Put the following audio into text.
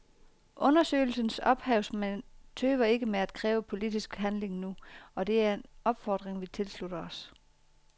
Undersøgelsens ophavsmænd tøver ikke med at kræve politisk handling nu, og det er en opfordring vi tilslutter os.